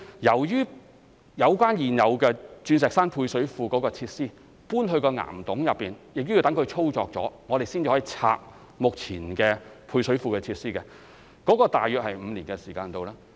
由於現有的鑽石山配水庫設施搬入岩洞內，需待其運作後，我們才能清拆目前的配水庫設施，這大約需時5年。